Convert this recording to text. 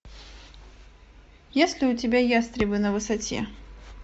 есть ли у тебя ястребы на высоте